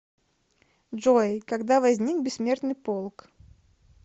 джой когда возник бессмертный полк